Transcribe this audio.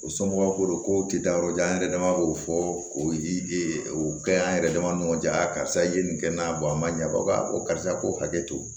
U somɔgɔw ko don ko u tɛ taa yɔrɔ jan an yɛrɛ dama b'o fɔ k'o yiri e kɛ an yɛrɛ dama ni ɲɔgɔn cɛ karisa i ye nin kɛ n na a man ɲa wa ko karisa k'o hakɛ to